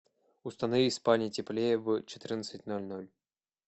установи в спальне теплее в четырнадцать ноль ноль